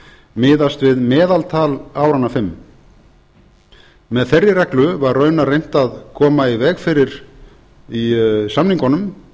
miðast við meðaltal áranna fimm með þeirri reglu var raunar reynt að koma í veg fyrir í samningunum